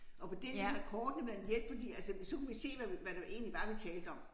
Og på den her kort det været en hjælp fordi altså så kunne vi se hvad hvad det egentlig var vi talte om